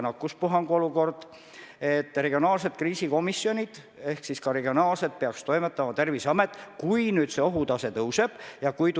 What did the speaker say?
Samas ei kinnita ükski autoriteetne ja professionaalne allikas maailmas, et seda viirust on kerge kontrolli all hoida.